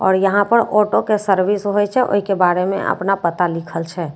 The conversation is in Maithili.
आआर यहाँ पर ऑटो केँ सर्विस होए छै ओहि के बारे मे आपना पता लिखल छे।